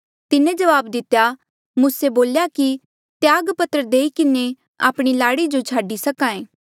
तिन्हें जवाब दितेया मूसे बोल्या की त्याग पत्र देई किन्हें आपणी लाड़ी जो छाडी सक्हा ऐें